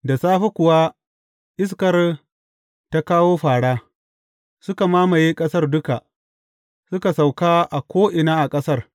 Da safe kuwa iskar ta kawo fāra; suka mamaye ƙasar duka, suka sauka a ko’ina a ƙasar.